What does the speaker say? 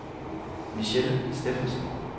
Michelle Steffensen